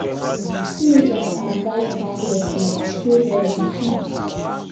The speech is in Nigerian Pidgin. teenagers advised pack leftover stay healthy um